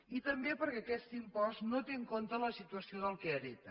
i també perquè aquest impost no té en compte la situació del qui hereta